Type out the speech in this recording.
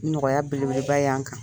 Nɔgɔya belebeleba ye an kan.